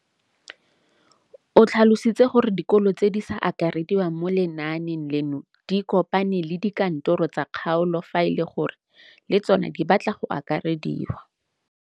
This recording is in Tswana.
O tlhalositse gore dikolo tse di sa akarediwang mo lenaaneng leno di ikopanye le dikantoro tsa kgaolo fa e le gore le tsona di batla go akarediwa.